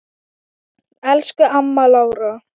Elsku amma Lára.